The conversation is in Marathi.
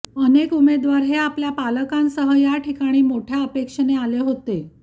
अनेक उमेदवार हे आपल्या पालकांसह या ठिकाणी मोठ्या अपेक्षेने आले होते